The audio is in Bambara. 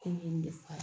Ko nin ye nin de fɔ